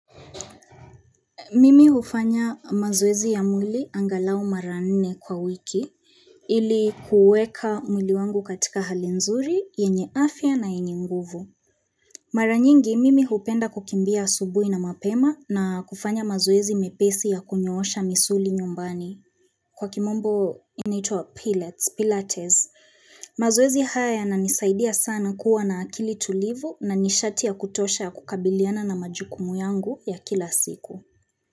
Mimi hufanya mazoezi ya mwili angalau mara nne kwa wiki ili kuweka mwili wangu katika hali nzuri, yenye afya na yenye nguvu. Mara nyingi, mimi hupenda kukimbia asubuhi na mapema na kufanya mazoezi mepesi ya kunyoosha misuli nyumbani. Kwa kimombo inaitwa Pilates, mazoezi haya yananisaidia sana kua na akili tulivu na nishatia kutosha ya kukabiliana na majukumu yangu ya kila siku.